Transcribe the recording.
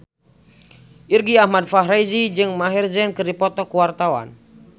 Irgi Ahmad Fahrezi jeung Maher Zein keur dipoto ku wartawan